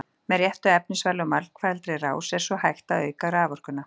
Með réttu efnisvali og margfaldri rás er svo hægt að auka raforkuna.